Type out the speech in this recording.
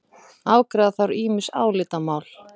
Afgreiða þarf ýmis álitamál